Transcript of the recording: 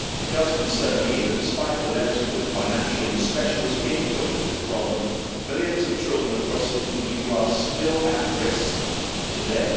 It concerns me that, despite the legislative, financial and specialist input into this problem, millions of children across the EU are still at risk today.